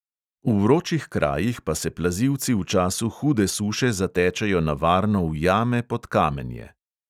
V vročih krajih pa se plazilci v času hude suše zatečejo na varno v jame pod kamenje.